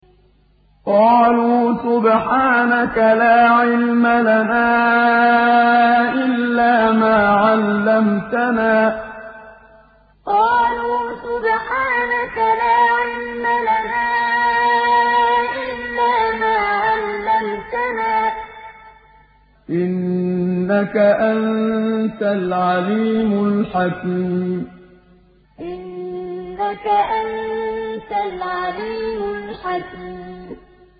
قَالُوا سُبْحَانَكَ لَا عِلْمَ لَنَا إِلَّا مَا عَلَّمْتَنَا ۖ إِنَّكَ أَنتَ الْعَلِيمُ الْحَكِيمُ قَالُوا سُبْحَانَكَ لَا عِلْمَ لَنَا إِلَّا مَا عَلَّمْتَنَا ۖ إِنَّكَ أَنتَ الْعَلِيمُ الْحَكِيمُ